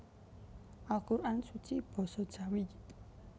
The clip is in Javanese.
Al Quran Suci Basa Jawi